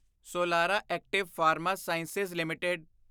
Solara Active Pharma Science limited